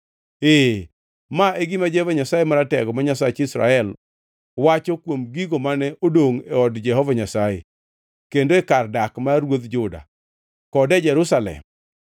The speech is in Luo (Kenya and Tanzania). ee, ma e gima Jehova Nyasaye Maratego, ma Nyasach Israel, wacho kuom gigo mane odongʼ e od Jehova Nyasaye kendo e kar dak mar ruodh Juda kod e Jerusalem: